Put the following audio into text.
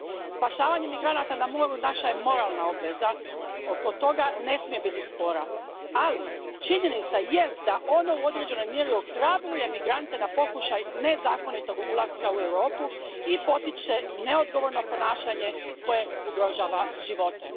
Spašavanje migranata na moru naša je moralna obveza, oko toga ne smije biti spora, ali činjenica jest da ono u određenoj mjeri ohrabruje migrante na pokušaj nezakonitog ulaska u Europu i potiče neodgovorno ponašanje koje ugrožava živote.